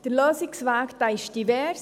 Der Lösungsweg ist divers.